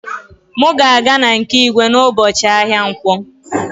M ga-aga na nke igwe n'ụbọchị ahịa nkwọ